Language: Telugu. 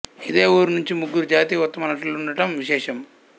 ఇదే ఊరు నుంచి ముగ్గురు జాతీయ ఉత్తమ నటులుండటం విశేషం